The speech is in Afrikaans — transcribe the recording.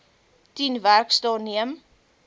tien werksdae neem